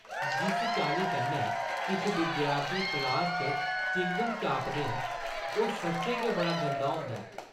जिस चाल्ली कन्नै किश विद्यार्थी क्लासा च चिंगम चापदे न ओह् सच्चें गै बड़ा गंदा होंदा ऐ।